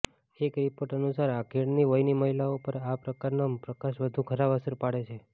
એક રિપોર્ટ અનુસાર આધેડ વયની મહિલાઓ પર આ પ્રકારનો પ્રકાશ વધુ ખરાબ અસર પાડે છે